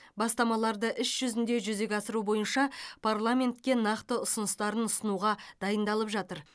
бастамаларды іс жүзінде жүзеге асыру бойынша парламентке нақты ұсыныстарын ұсынуға дайындалып жатыр